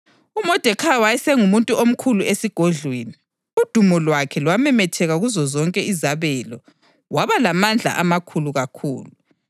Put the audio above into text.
UModekhayi wayesengumuntu omkhulu esigodlweni; udumo lwakhe lwamemetheka kuzozonke izabelo, waba lamandla amakhulu kakhulu.